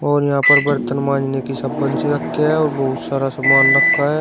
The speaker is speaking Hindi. और यहां पर बर्तन मांजने की साबुन सी रखें है और बहुत सारा सामान रखा है।